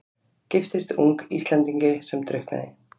Giftist ung Íslendingi sem drukknaði.